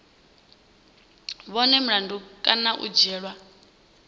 vhonwe mulandu kana u dzhielwa